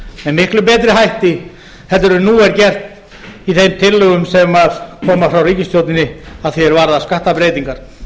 með miklu betri hætti en nú er gert í þeim tillögum sem koma frá ríkisstjórninni að því er varðar skattabreytingar